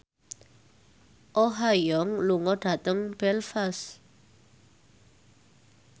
Oh Ha Young lunga dhateng Belfast